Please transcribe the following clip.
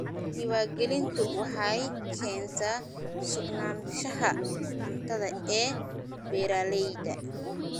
Diiwaangelintu waxay keentaa sugnaanshaha cuntada ee beeralayda.